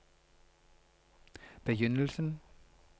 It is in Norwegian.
begynnelsen